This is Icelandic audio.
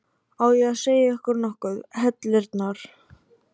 Á ég að segja ykkur nokkuð, heillirnar?